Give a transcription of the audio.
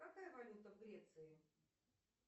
какая валюта в греции